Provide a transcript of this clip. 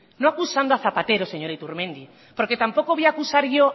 no acusando a zapatero señor iturmendi porque tampoco voy a acusar yo